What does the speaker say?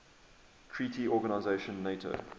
treaty organization nato